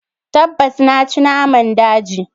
Tabbas! Na ci naman daji.